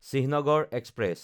Chinhagarh express